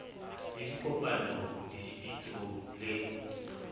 le dikopanong le dipitsong le